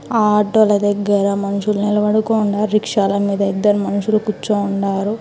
ఆ ఆటోల దగ్గర మనుషులు నిలబడుకోండారు. రిక్షాల మీద ఇద్దరు మనుషులు కూర్చోండారు.